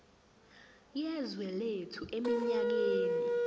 yezwe lethu eminyakeni